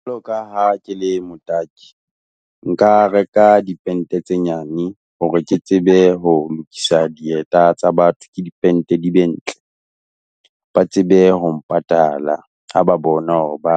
Jwalo ka ha ke le motaki, nka reka dipente tse nyane, hore ke tsebe ho lokisa dieta tsa batho, ke dipente di be ntle. Ba tsebe ho mpatala, ha ba bona hore ba,